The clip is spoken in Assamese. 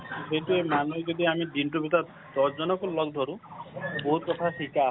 সেইটোৱে মানুহ যদি আমি দিনতোৰ ভিতৰত দহজনকওঁ লগ ধৰো বহুত কথা শিকা হয়